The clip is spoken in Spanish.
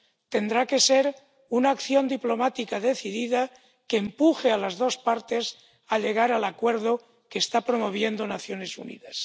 Tendrá que ser una acción diplomática decidida que empuje a las dos partes a llegar al acuerdo que están promoviendo las Naciones Unidas.